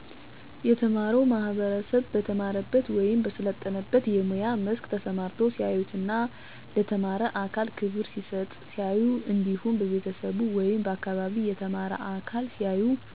የተማረው ማህበረሰብ በተማረበት ወይም በሰለጠነበት የሙያ መስክ ተሰማርቶ ሲያዩትና ለተማረ አካል ክብር ሲሰጠው ሲያዩ እንዲሁም በቤተሰቡ ወይም በአካባቢው የተማረ አካል ሲያዩ